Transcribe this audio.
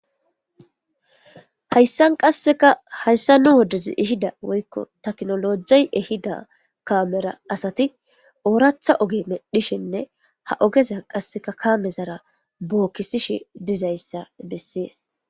hayssan qasseka hayssa nu woddez ihida woykko taknolojey ehida kaamera asati ooratha oge medhishenne ha ogeza qasseka kaame zara bookkisishi dizayssa bessees